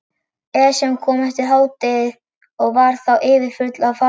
Esjan kom eftir hádegið og var þá yfirfull af farþegum.